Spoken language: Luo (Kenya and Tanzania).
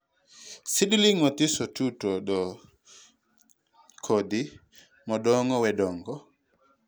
seedling mathiso two to thoo to kodhi modongo wee dongo.